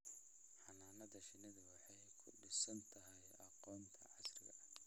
Xannaanada shinnidu waxay ku dhisan tahay aqoonta casriga ah